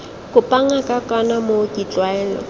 kopa ngaka kana mooki tlwaelo